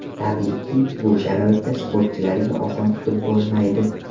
Tabiiyki, bu sharoitda sportchilarga oson tutib bo‘lmaydi.